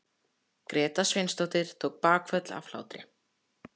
Gréta Sveinsdóttir tók bakföll af hlátri.